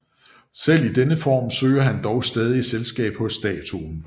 Selv i denne form søger han dog stadig selskab hos statuen